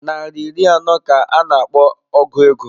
Nari iri abụọ ka a na-akpọ ọgu ego.